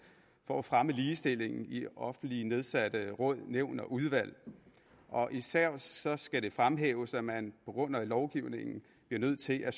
for at fremme ligestillingen i offentligt nedsatte råd nævn og udvalg og især skal det fremhæves at man på grund af lovgivningen bliver nødt til at